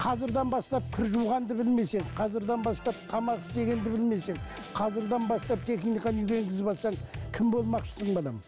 қазірден бастап кір жуғанды білмесең қазірден бастап тамақ істегенді білмесең қазірден бастап техниканы үйге енгізіп алсаң кім болмақшысың балам